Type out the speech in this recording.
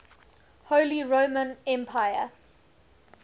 holy roman empire